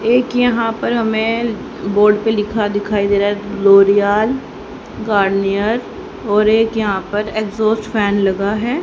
एक यहां पर हमें बोर्ड पे लिखा दिखाई दे रहा है लोरियाल गार्नियर और एक यहां पर एग्जॉस्ट फैन लगा है।